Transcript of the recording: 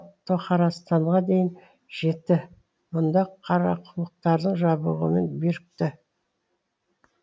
тоқарастанға дейін жетті мұнда қарақұлұқтардың жабығымен бірікті